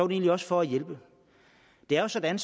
egentlig også for at hjælpe det er sådan